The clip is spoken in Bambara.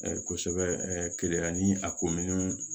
Kosɛbɛ keleya yan ni a kominin